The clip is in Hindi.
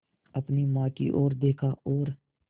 अपनी माँ की ओर देखा और